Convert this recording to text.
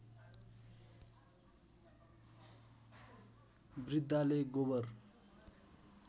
वृद्घाले गोबर